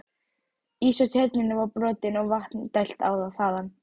Ís á Tjörninni var brotinn og vatni dælt þaðan.